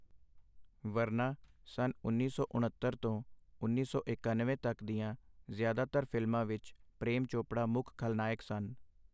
ਵਰਨਾ, ਸੰਨ ਉੱਨੀ ਸੌ ਉਣੱਤਰ ਤੋਂ ਉੱਨੀ ਸੌ ਇਕੱਨਵੇਂ ਤੱਕ ਦੀਆਂ ਜ਼ਿਆਦਾਤਰ ਫ਼ਿਲਮਾਂ ਵਿੱਚ ਪ੍ਰੇਮ ਚੋਪੜਾ ਮੁੱਖ ਖਲਨਾਇਕ ਸਨ।